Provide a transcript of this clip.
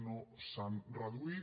no s’han reduït